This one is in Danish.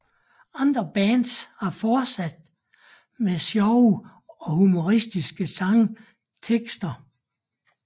Andre bands har fortsat med sjove og humoristiske sangtekster